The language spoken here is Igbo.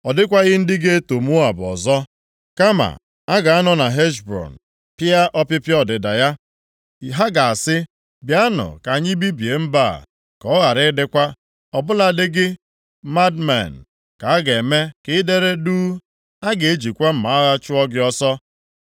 Ọ dịkwaghị ndị ga-eto Moab ọzọ, kama a ga-anọ na Heshbọn pịa ọpịpịa ọdịda ya. Ha ga-asị, ‘Bịanụ ka anyị bibie mba a, ka ọ ghara ịdịkwa.’ Ọ bụladị gị bụ Madmen, ka a ga-eme ka i dere duu. A ga-ejikwa mma agha chụọ gị ọsọ.